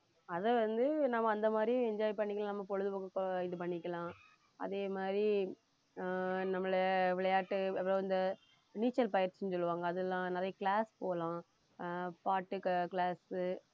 அதை வந்து நம்ம அந்த மாதிரி enjoy பண்ணிக்கலாம் நம்ம பொழுதுபோக்குக்கு இது பண்ணிக்கலாம் அதே மாதிரி ஆஹ் நம்மளை விளையாட்டு அப்புறம் இந்த நீச்சல் பயிற்சின்னு சொல்லுவாங்க அதெல்லாம் நிறைய class போலாம் ஆஹ் பாட்டு அஹ் அஹ் class உ